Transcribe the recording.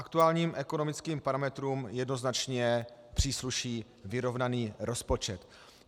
Aktuálním ekonomickým parametrům jednoznačně přísluší vyrovnaný rozpočet.